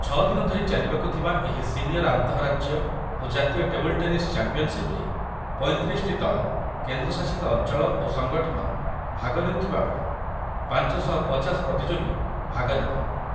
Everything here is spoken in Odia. ଛଅ ଦିନ ଧରି ଚାଲିବାକୁ ଥିବା ଏହି ସିନିୟର୍ ଆନ୍ତଃରାଜ୍ୟ ଓ ଜାତୀୟ ଟେବୁଲ୍‌ ଟେନିସ୍ ଚାମ୍ପିୟନ୍‌ସିପ୍‌ରେ ପଇଁତିରିଶଟି ଦଳ, କେନ୍ଦ୍ରଶାସିତ ଅଞ୍ଚଳ ଓ ସଙ୍ଗଠନ ଭାଗ ନେଉଥିବାବେଳେ ପାଞ୍ଚ ଶହ ପଚାଶ ପ୍ରତିଯୋଗୀ ଭାଗ ନେବେ